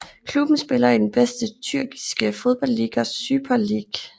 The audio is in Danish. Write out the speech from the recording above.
Klubben spiller i den bedste Tyrkiske fodboldliga Süper Lig